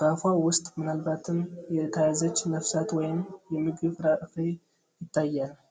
በአፏ ውስጥ ምናልባትም የተያዘች ነፍሳት ወይም የምግብ ፍርፋሪ ይታያል።